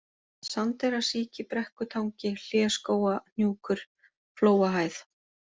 Sandeyrasíki, Brekkutangi, Hléskógahnjúkur, Flóahæð